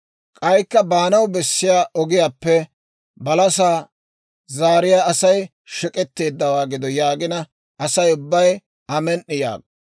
« ‹K'ook'ay baanaw bessiyaa ogiyaappe balasaa zaariyaa Asay shek'etteeddawaa gido› yaagina, Asay ubbay, ‹Amen"i!› yaago.